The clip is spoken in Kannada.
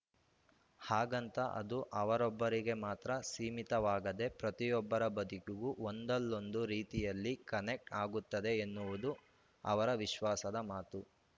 ಹಾಗಂತ ಅದು ಅವರೊಬ್ಬರಿಗೆ ಮಾತ್ರ ಸೀಮಿತವಾಗದೆ ಪ್ರತಿಯೊಬ್ಬರ ಬದುಕಿಗೂ ಒಂದಲ್ಲೊಂದು ರೀತಿಯಲ್ಲಿ ಕನೆಕ್ಟ್ ಆಗುತ್ತದೆ ಎನ್ನುವುದು ಅವರ ವಿಶ್ವಾಸದ ಮಾತು